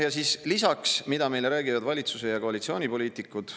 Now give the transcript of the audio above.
Ja siis lisaks, mida meile räägivad valitsuse ja koalitsioonipoliitikud.